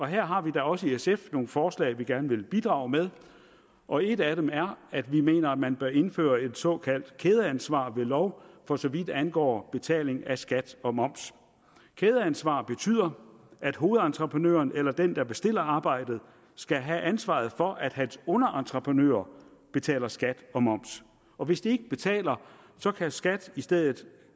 her har vi da også i sf nogle forslag vi gerne vil bidrage med og et af dem er at vi mener man bør indføre et såkaldt kædeansvar ved lov for så vidt angår betaling af skat og moms kædeansvar betyder at hovedentreprenøren eller den der bestiller arbejdet skal have ansvaret for at hans underentreprenører betaler skat og moms og hvis de ikke betaler kan skat i stedet